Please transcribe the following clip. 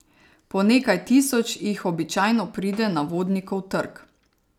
Po nekaj tisoč jih običajno pride na Vodnikov trg.